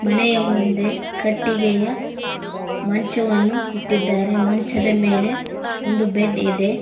ಮನೆಯ ಮುಂದೆ ಕಟ್ಟಿಗೆಯ ಮಂಚವನ್ನು ಇಟ್ಟಿದ್ದಾರೆ ಮಂಚದ ಮೇಲೆ ಒಂದು ಬೆಡ್ ಇದೆ.